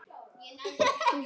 Svona mætti áfram telja.